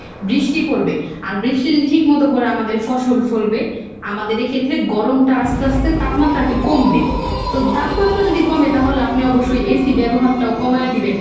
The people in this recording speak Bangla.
বৃষ্টি পড়বে, আর বৃষ্টি যদি ঠিকমতো পড়ে আমাদের ফসল ফলবে, আমাদের এক্ষেত্রে গরমটা আস্তে আস্তে তাপমাত্রা আর কি কমবে, তো তাপমাত্রা যদি কমে তাহলে আপনি অবশ্যই AC ব্যবহারটাও কমায়ে দিবেন।